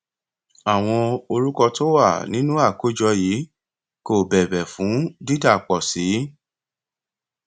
àwọn orúkọ tó wà nínú àkójọ yìí kò bẹbẹ fún dídàpọ sí